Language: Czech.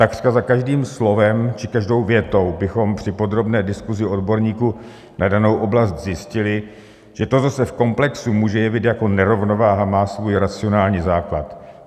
Takřka za každým slovem či každou větou bychom při podrobné diskuzi odborníků na danou oblast zjistili, že to, co se v komplexu může jevit jako nerovnováha, má svůj racionální základ.